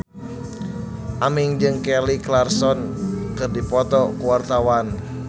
Aming jeung Kelly Clarkson keur dipoto ku wartawan